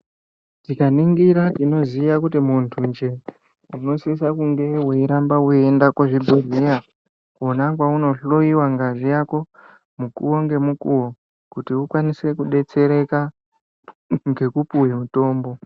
Tikaningira tinoziya kuti muntu njee unosisa kunge weiramba weiyenda kuzvibhedhleya kona kwaunohloyiwa ngazi yako mukuwo ngemukuwo kuti ukwanise kudetsereka ngekupuwe mutombo.